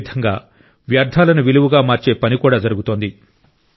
అదే విధంగా వ్యర్థాలను విలువగా మార్చే పని కూడా జరుగుతోంది